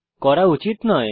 করা উচিত নয়